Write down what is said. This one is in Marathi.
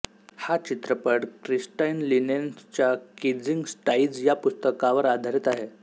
हा चित्रपट क्रिस्टाईन लिनेन्सच्या केजिंग स्काइज या पुस्तकावर आधारित आहे